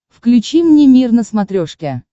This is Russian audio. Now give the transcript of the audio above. включи мне мир на смотрешке